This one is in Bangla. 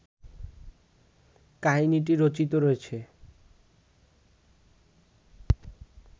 কাহিনীটি রচিত রয়েছে